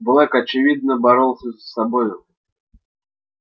блэк очевидно боролся с собой